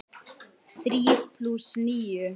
Þrír plús níu.